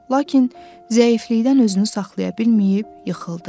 Lakin zəiflikdən özünü saxlaya bilməyib yıxıldı.